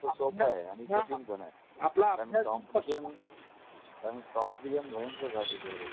सोप्प आहे आता. सोप्प आहे आणि कठीण पण आहे. कारण कॉम्पीटीशन कॉम्पीटीशन भयंकर वाढलेली आहे.